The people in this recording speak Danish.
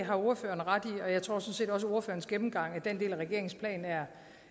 har ordføreren ret i og jeg tror sådan set også at ordførerens gennemgang af den del af regeringens plan er